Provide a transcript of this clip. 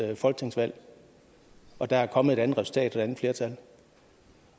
folketingsvalg og der er kommet et andet resultat og et andet flertal